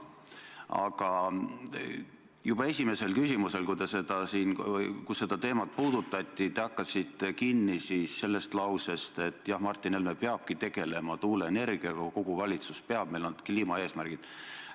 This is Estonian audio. Aga juba esimese küsimuse puhul, kui seda teemat puudutati, te hakkasite kinni sellest, et Martin Helme peabki tegelema tuuleenergiaga, kogu valitsus peab, sest meil on kliimaeesmärgid.